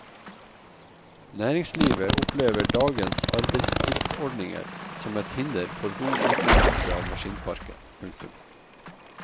Næringslivet opplever dagens arbeidstidsordninger som et hinder for god utnyttelse av maskinparken. punktum